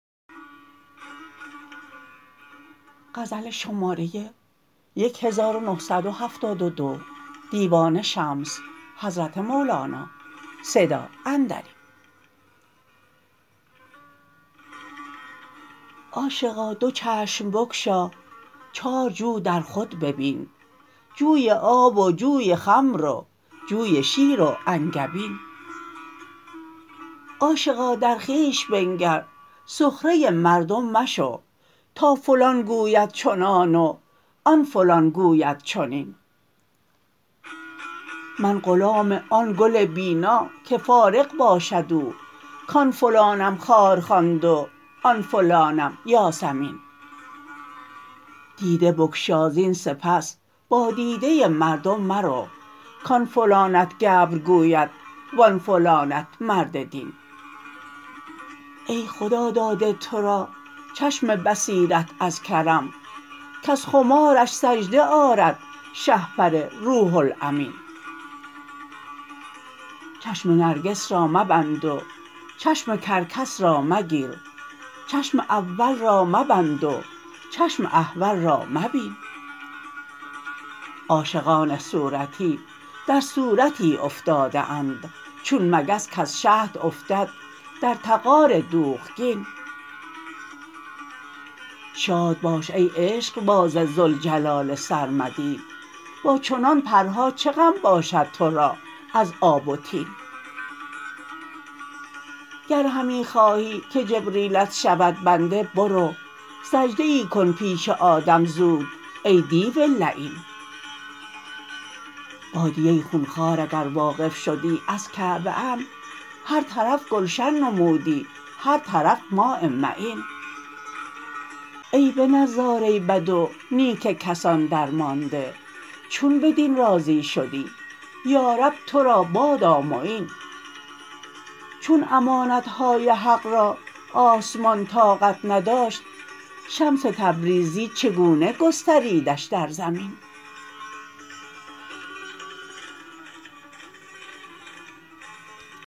عاشقا دو چشم بگشا چارجو در خود ببین جوی آب و جوی خمر و جوی شیر و انگبین عاشقا در خویش بنگر سخره مردم مشو تا فلان گوید چنان و آن فلان گوید چنین من غلام آن گل بینا که فارغ باشد او کان فلانم خار خواند وان فلانم یاسمین دیده بگشا زین سپس با دیده مردم مرو کان فلانت گبر گوید وان فلانت مرد دین ای خدا داده تو را چشم بصیرت از کرم کز خمارش سجده آرد شهپر روح الامین چشم نرگس را مبند و چشم کرکس را مگیر چشم اول را مبند و چشم احول را مبین عاشقان صورتی در صورتی افتاده اند چون مگس کز شهد افتد در طغار دوغگین شاد باش ای عشقباز ذوالجلال سرمدی با چنان پرها چه غم باشد تو را از آب و طین گر همی خواهی که جبریلت شود بنده برو سجده ای کن پیش آدم زود ای دیو لعین بادیه خون خوار اگر واقف شدی از کعبه ام هر طرف گلشن نمودی هر طرف ماء معین ای به نظاره بد و نیک کسان درمانده چون بدین راضی شدی یارب تو را بادا معین چون امانت های حق را آسمان طاقت نداشت شمس تبریزی چگونه گستریدش در زمین